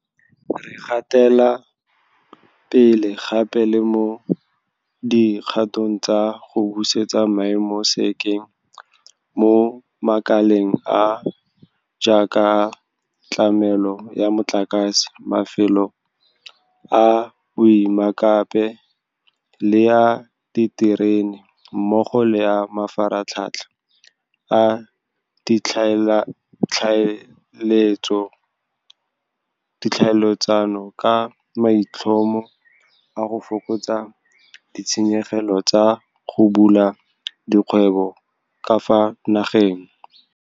Re gatela pele gape le mo di kgatong tsa go busetsa maemo sekeng mo makaleng a a jaaka a tlamelo ya motlakase, mafelo a boemakepe le a diterene mmogo le a mafaratlhatlha a ditlhaeletsano ka maitlhomo a go fokotsa ditshenyegelo tsa go bula dikgwebo ka fa nageng.